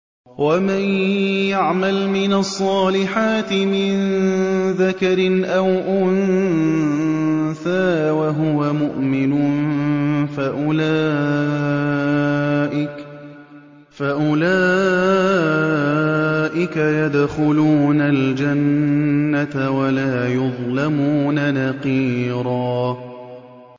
وَمَن يَعْمَلْ مِنَ الصَّالِحَاتِ مِن ذَكَرٍ أَوْ أُنثَىٰ وَهُوَ مُؤْمِنٌ فَأُولَٰئِكَ يَدْخُلُونَ الْجَنَّةَ وَلَا يُظْلَمُونَ نَقِيرًا